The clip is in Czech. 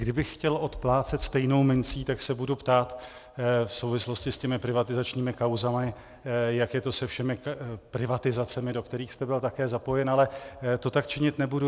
Kdybych chtěl oplácet stejnou mincí, tak se budu ptát v souvislosti s těmi privatizačními kauzami, jak je to se všemi privatizacemi, do kterých jste byl také zapojen, ale to tak činit nebudu.